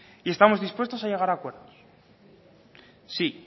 y estamos dispuestos a llegar acuerdos sí